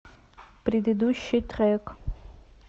предыдущий трек